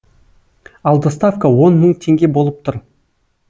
ал доставка он мың теңге болып тұр